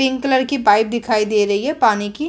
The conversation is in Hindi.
पिंक कलर की पाइप दिखाई दे रही है पानी की --